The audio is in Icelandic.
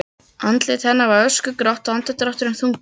Andlit hennar var öskugrátt og andardrátturinn þungur.